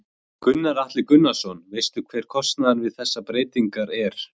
Gunnar Atli Gunnarsson: Veistu hver kostnaðurinn við þessar breytingar er?